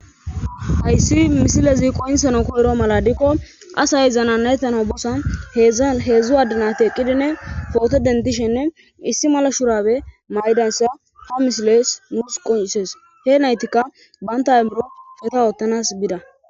ayssi misilezi qoynsano koyro mala diikko asay zana nayttana bossa zheedzdzu addinati eqqidinne foote dentishenne issi mala shurabe maydansa ha misiles nuus qonsees he naytikka banta emmuro feta ottanas bida